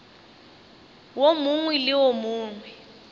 wo mongwe le wo mongwe